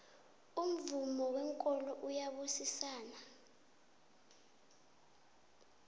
umvomo wenkolo uyabusisana